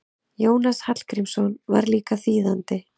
Jónas Hallgrímsson var líka þýðandi.